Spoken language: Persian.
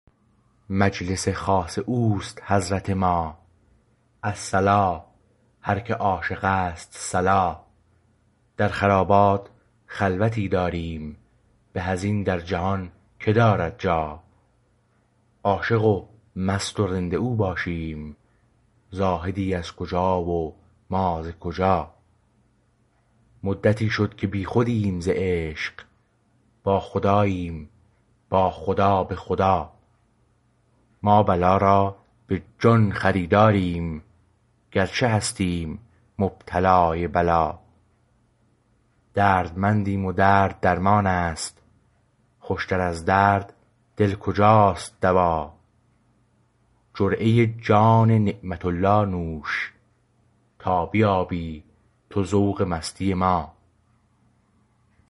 مجلس خاص او است حضرت ما الصلا هر که عاشق است صلا در خرابات خلوتی داریم به از این در جهان که دارد جا عاشق و مست و رند و او باشیم زاهدی از کجا و ما ز کجا مدتی شد که بیخودیم ز عشق با خداییم با خدا به خدا ما بلا را به جان خریداریم گرچه هستیم مبتلای بلا دردمندیم و درد درمان است خوشتر از درد دل کجا است دوا جرعه جان نعمت الله نوش تا بیابی تو ذوق مستی ما